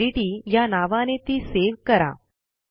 practiceओडीटी या नावाने ती सेव्ह करा